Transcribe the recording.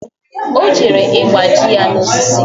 Ọ jere ịgba ji ya osisi